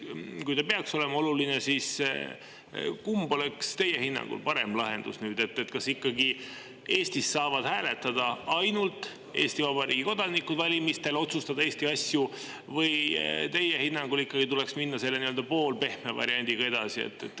Ja kui see peaks olema oluline, siis kumb oleks teie hinnangul parem lahendus: kas see, et Eestis saavad valimistel ikkagi hääletada, otsustada Eesti asju ainult Eesti Vabariigi kodanikud, või teie hinnangul tuleks minna edasi poolpehme variandiga?